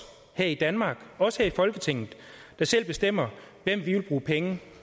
her i danmark os her i folketinget der selv bestemmer hvem vi vil bruge penge